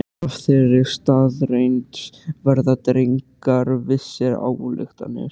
Af þeirri staðreynd verða dregnar vissar ályktanir.